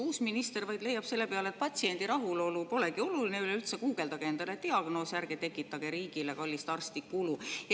Uus minister leiab selle peale, et patsiendi rahulolu polegi oluline, üleüldse guugeldage endale diagnoos ja ärge tekitage riigile kallist arsti kulu.